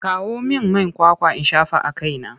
Kawo min man kwakwa in shafa a kaina!